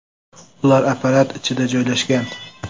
Ular apparat ichida joylashgan.